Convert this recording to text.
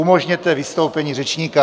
Umožněte vystoupení řečníka!